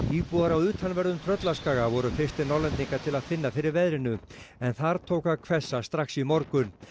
íbúar á utanverðum Tröllaskaga voru fyrstir Norðlendinga til að finna fyrir veðrinu en þar tók að hvessa strax í morgun